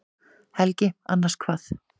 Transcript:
Helgi: Annars hvað?